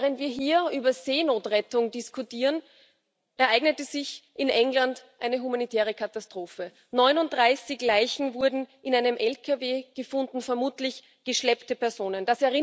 Während wir hier über Seenotrettung diskutieren, ereignete sich in England eine humanitäre Katastrophe 39 Leichen wurden in einem LKW gefunden, vermutlich geschleppte Personen.